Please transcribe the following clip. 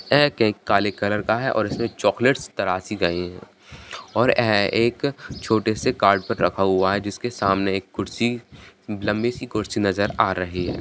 ये केक काले कलर का है और इसमे चॉकलेटस तरासी गयी है और ए-एक छोटे से कार्ड रखा हुआ है जिसके सामने एक कुर्सी लंबी सी कुर्सी नजर आ रही है।